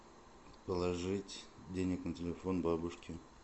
положить денег на телефон бабушке